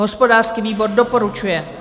Hospodářský výbor doporučuje.